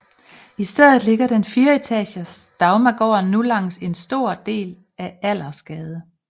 I stedet ligger den fireetages Dagmargården nu langs en stor del af Allersgade